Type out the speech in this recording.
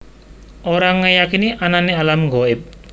Ora ngeyakini anane alam ghaib